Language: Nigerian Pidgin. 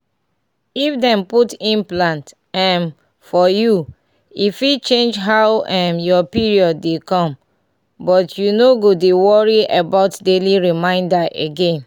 if dem put implant um for you e fit change how um your period dey come — but you no go dey worry about daily reminder again.